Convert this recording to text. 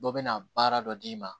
Dɔ bɛna baara dɔ d'i ma